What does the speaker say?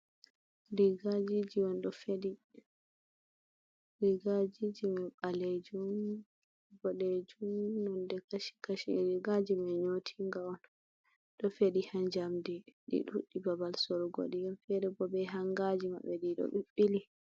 Rigajiji on ɗo feɗi rigajiji man ɓalejum boɗejum nonde kashi kashi rigaji mai nyotinga on ɗo feɗi ha jamdi ɗi ɗuɗɗi babal sorgo di on fere bo be hangaji maɓɓe ɗiɗo ɓi ɓili.